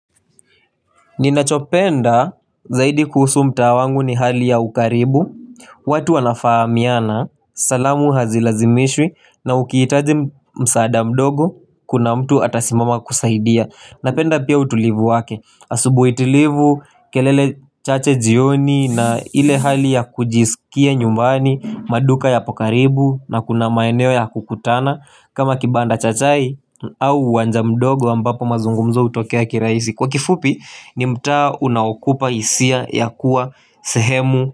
Ninachopenda zaidi kuhusu mtaa wangu ni hali ya ukaribu watu wanafahamiana salamu hazilazimishwi na ukiitaji msaada mdogo kuna mtu atasimama kusaidia Napenda pia utulivu wake asubui tulivu kelele chache jioni na ile hali ya kujisikia nyumbani maduka yapo karibu na kuna maeneo ya kukutana kama kibanda chachai au wanja mdogo ambapo mazungumzo utokea kiraisi Kwa kifupi ni mta unawakupa isia ya kuwa sehemu.